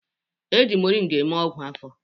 E ji moringa eme ọgwụ afọ